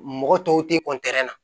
Mɔgɔ tɔw tɛ